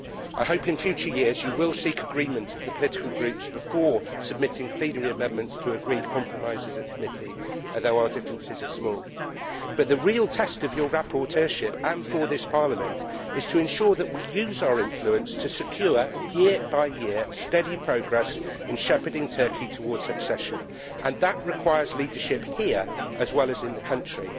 I hope, in future years, that you will seek agreement of the political groups before submitting plenary amendments to agreed compromises at committee, as our differences are small. But the real test of your rapporteurship and for this Parliament is to ensure that we use our influence to secure, year by year, steady progress in shepherding Turkey towards accession, and that requires leadership here as well as in the country.